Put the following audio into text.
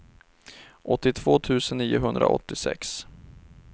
åttiotvå tusen niohundraåttiosex